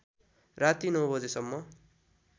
राति ९ बजेसम्म